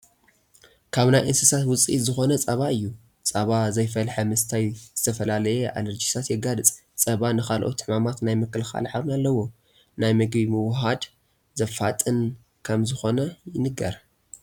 ካብ ናይ እንስሳት ውፅኢት ዝኾነ ፀባ እዩ፡፡ ፀባ ዘይፈለሐ ምስታይ ዝተፈላለየ ኣለርጂታት የጋልፅ፡፡ ፀባ ንካልኦት ሕማማት ናይ ምክልኻል ዓቕሚ ኣለዎ፡፡ ናይ ምግቢ ምውህሃድ ዘፋጥን ከምዝኾነ ይንገር፡፡